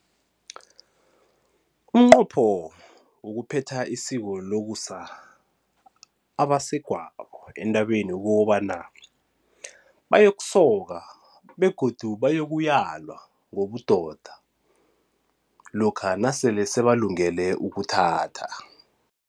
Umnqopho wokuphetha isiko lokusa abasegwabo entabeni kukobana bayokusoka begodu bayokuyalwa ngobudoda lokha nasele sebalungele ukuthatha.